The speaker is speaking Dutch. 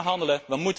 We kunnen handelen.